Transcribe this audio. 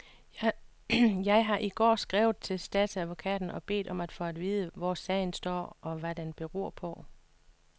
Jeg har i går skrevet til statsadvokaten og bedt om at få at vide, hvor sagen står, og hvad den beror på.